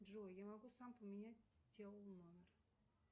джой я могу сам поменять тел номер